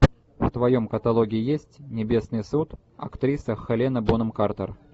в твоем каталоге есть небесный суд актриса хелена бонем картер